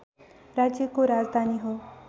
राज्यको राजधानी हो